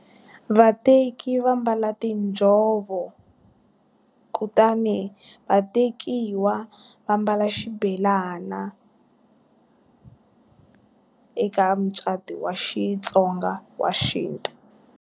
Vateki va mbala tinjhovo, kutani vatekiwa va mbala xibelana eka mucato wa Xitsonga wa xintu.